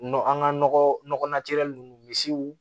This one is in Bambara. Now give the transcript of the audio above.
Nɔ an ka nɔgɔ nunnu misiw